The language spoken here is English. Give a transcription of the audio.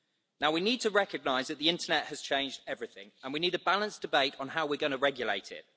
Now we need to recognise that the internet has changed everything, and we need a balanced debate on how we are going to regulate it.